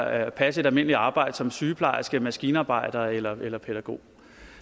at passe et almindeligt arbejde som sygeplejerske maskinarbejder eller eller pædagog